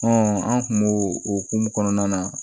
an kun b'o o hokumu kɔnɔna na